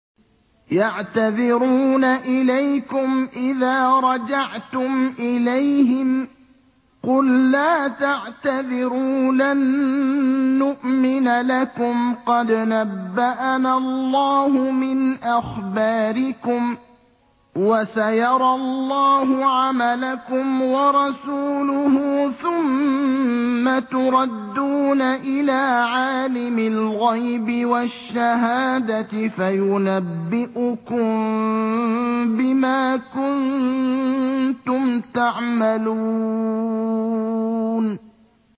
يَعْتَذِرُونَ إِلَيْكُمْ إِذَا رَجَعْتُمْ إِلَيْهِمْ ۚ قُل لَّا تَعْتَذِرُوا لَن نُّؤْمِنَ لَكُمْ قَدْ نَبَّأَنَا اللَّهُ مِنْ أَخْبَارِكُمْ ۚ وَسَيَرَى اللَّهُ عَمَلَكُمْ وَرَسُولُهُ ثُمَّ تُرَدُّونَ إِلَىٰ عَالِمِ الْغَيْبِ وَالشَّهَادَةِ فَيُنَبِّئُكُم بِمَا كُنتُمْ تَعْمَلُونَ